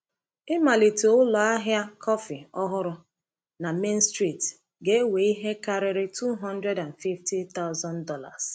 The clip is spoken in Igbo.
Ịmalite ụlọ ahịa kọfị ọhụrụ na Main Street ga-ewe ihe karịrị $250,000.